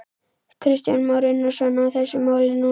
Kristján Már Unnarsson: Á þessu máli núna þá?